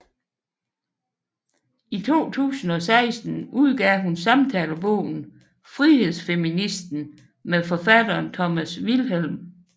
I 2016 udgav hun samtalebogen Frihedsfeministen med forfatteren Thomas Vilhelm